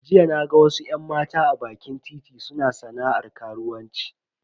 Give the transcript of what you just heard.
Jiya naga wasu yan mata a bakin titi suna sana'ar karuwanci.